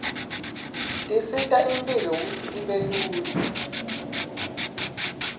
tisita imphilo kutsi ibe lula